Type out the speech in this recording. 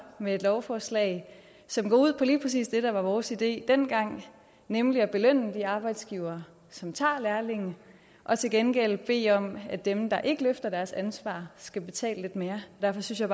med et lovforslag som går ud på lige præcis det der var vores idé den gang nemlig at belønne de arbejdsgivere som tager lærlinge og til gengæld bede om at dem der ikke løfter deres ansvar skal betale lidt mere derfor synes jeg